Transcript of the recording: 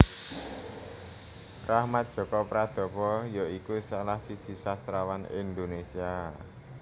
Rachmat Djoko Pradopo ya iku salah siji sastrawan Indonesia